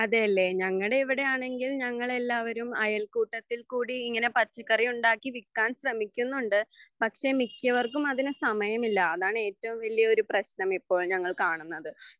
അതെയെല്ലേ ഞങ്ങടെ ഇവിടെയാണെങ്കിൽ ഞങ്ങളെല്ലാവരും അയൽക്കൂട്ടത്തിൽകൂടി ഇങ്ങനെ പച്ചക്കറി ഉണ്ടാക്കി വിൽക്കാൻ ശ്രമിക്കുന്നുണ്ട് പക്ഷെ മിക്കവർക്കും അതിനു സമയമില്ല അതാണ് ഏറ്റവും വലിയാ ഒരു പ്രശ്നമിപ്പോൾ ഞങ്ങള്കാണുന്നത്